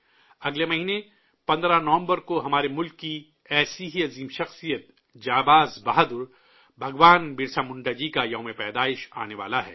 اگلے مہینے، 15 نومبر کو ہمارے ملک کی ایسی ہی عظیم شخصیت، بہادر سپاہی، بھگوان برسا منڈا جی کی جنم جینتی آنے والی ہے